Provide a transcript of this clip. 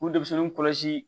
K'u denmisɛnninw kɔlɔsi